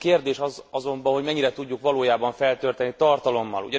A kérdés az azonban, hogy mennyire tudjuk valójában feltölteni tartalommal.